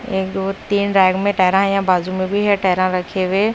एक दो तीन रैक टायर या बाजू में भी है टायर रखे हुए।